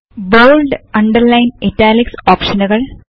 bold underline italics ഒപ്ഷനുകൾ